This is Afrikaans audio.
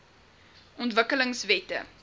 ontwikkelingwette